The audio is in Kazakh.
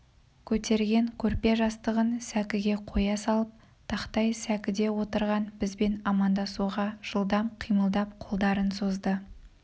көтерген көрпе-жастығын сәкіге қоя салып тақтай сәкіде отырған бізбен амандасуға жылдам қимылдап қолдарын созды